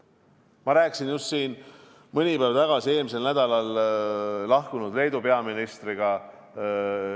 Ma rääkisin just mõni päev tagasi Leedu peaministriga, kes eelmisel nädalal ametist lahkus, eelmise peaministriga.